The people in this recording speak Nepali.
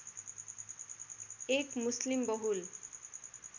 एक मुस्लिम बहुल